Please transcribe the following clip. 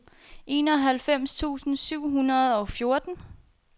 enoghalvfems tusind syv hundrede og fjorten